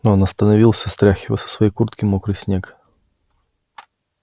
он остановился стряхивая со своей куртки мокрый снег